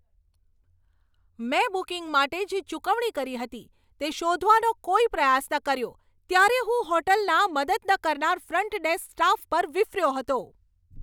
મેં બુકિંગ માટે જે ચૂકવણી કરી હતી તે શોધવાનો કોઈ પ્રયાસ ન કર્યો ત્યારે હું હોટલના મદદ ન કરનાર ફ્રન્ટ ડેસ્ક સ્ટાફ પર વિફર્યો હતો.